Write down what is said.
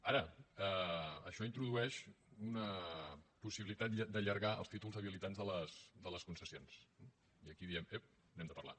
ara això introdueix una possibilitat d’allargar els títols habilitants de les concessions eh i aquí diem ep n’hem de parlar